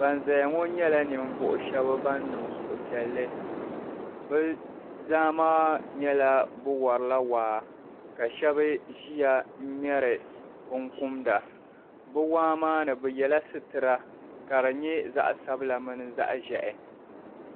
Ban zaya ŋɔ nyela ninvuɣu shɛb ban niŋ suhupiɛlli bɛ zaa maa nyɛla bɛ warila waa ka shɛb ʒiya n ŋmeri binkumda bɛ waa maa ni bɛ yela sitira ka di nye zaɣsabila mini zaɣʒehi.